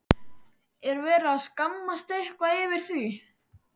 Er verið að skammast eitthvað yfir því?